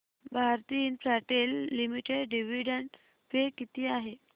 Bharti Infratel limited dividend pay किती आहे